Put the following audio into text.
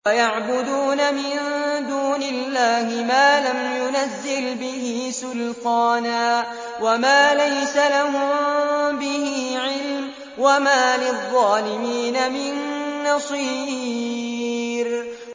وَيَعْبُدُونَ مِن دُونِ اللَّهِ مَا لَمْ يُنَزِّلْ بِهِ سُلْطَانًا وَمَا لَيْسَ لَهُم بِهِ عِلْمٌ ۗ وَمَا لِلظَّالِمِينَ مِن نَّصِيرٍ